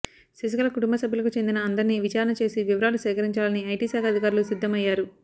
శశికళ కుటుంబ సభ్యులకు చెందిన అందర్నీ విచారణ చేసి వివరాలు సేకరించాలని ఐటీ శాఖ అధికారులు సిద్దం అయ్యారు